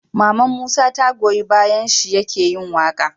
Maman musa ta goyi bayan shi yake yin waƙa